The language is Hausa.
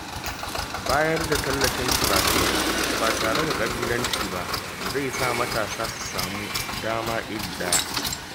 Bayar da tallafin karatu ba tare da ƙabilanci ba, zai sa matasa su samu dama iri ɗaya.